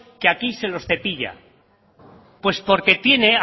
que aquí se los cepilla pues porque tiene